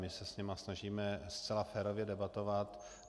My se s nimi snažíme zcela férově debatovat.